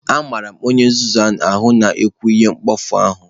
Amara m onye nzuzu ahụ na-ekwu ihe mkpofu ahụ